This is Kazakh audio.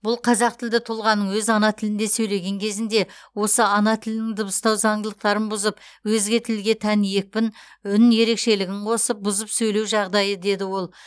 бұл қазақтілді тұлғаның өз ана тілінде сөйлеген кезінде осы ана тілінің дыбыстау заңдылықтарын бұзып өзге тілге тән екпін үн ерекшелігін қосып бұзып сөйлеу жағдайы деді ол